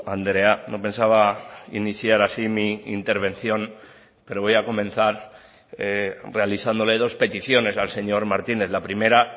andrea no pensaba iniciar así mi intervención pero voy a comenzar realizándole dos peticiones al señor martínez la primera